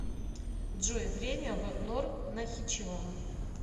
джой время в нор нахичеван